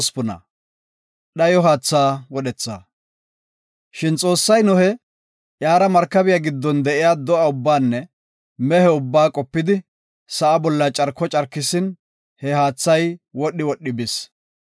Shin Xoossay Nohe, iyara markabiya giddon de7iya do7a ubbaanne mehe ubbaa qopidi sa7a bolla carko carkisin he haathay wodhi wodhi bis.